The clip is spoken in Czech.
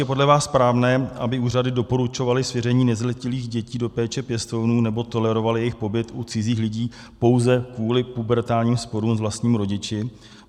Je podle vás správné, aby úřady doporučovaly svěření nezletilých dětí do péče pěstounů nebo tolerovaly jejich pobyt u cizích lidí pouze kvůli pubertálním sporům s vlastními rodiči?